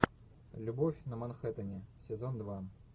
любовь на манхэттене сезон два